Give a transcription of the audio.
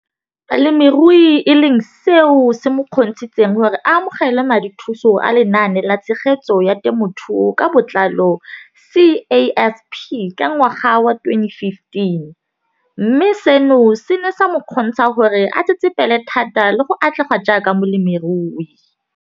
Balemirui e leng seo se mo kgontshitseng gore a amogele madithuso a Lenaane la Tshegetso ya Te mothuo ka Botlalo, CASP] ka ngwaga wa 2015, mme seno se ne sa mo kgontsha gore a tsetsepele thata le go atlega jaaka molemirui.